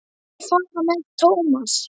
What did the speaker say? Leyfðu mér að fara með Thomas.